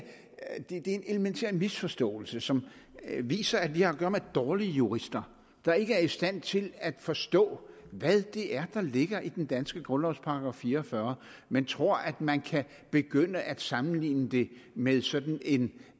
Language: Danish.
en elementær misforståelse som viser at vi har at gøre med dårlige jurister der ikke er i stand til at forstå hvad det er der ligger i den danske grundlovs § fire og fyrre men tror at man kan begynde at sammenligne det med sådan en